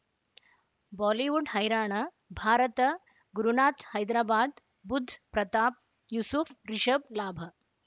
Bollywood ಹೈರಾಣ ಭಾರತ ಗುರುನಾಥ ಹೈದರಾಬಾದ್ ಬುಧ್ ಪ್ರತಾಪ್ ಯೂಸುಫ್ ರಿಷಬ್ ಲಾಭ